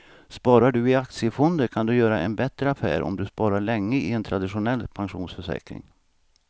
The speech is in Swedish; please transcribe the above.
Sparar du i aktiefonder kan du göra en bättre affär än om du sparar länge i en traditionell pensionsförsäkring.